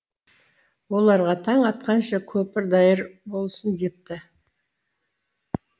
оларға таң атқанша көпір даяр болсын депті